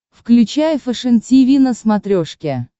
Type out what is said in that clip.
включай фэшен тиви на смотрешке